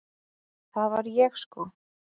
Það var ég sko!